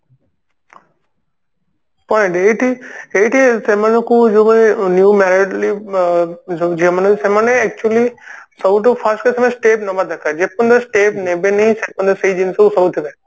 point ଏଇଠି ଏଇଠି ସେମାନଙ୍କୁ ଯୋଉମାନେ new married ଯୋଉ ଝିଅ ମାନେ ସେମାନେ actually ସବୁଠୁ first କଥା ହେଲା step ନବା ଦରକାର ଯେତେବେଳେ step ନେବେନି ସେତେବେଳ ସେଇ ଜିନିଷ କୁ ସହୁଥିବେ